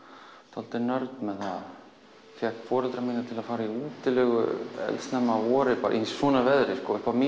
dálítið nörd með það fékk foreldra mína til að fara í útilegu eldsnemma að vori í svona veðri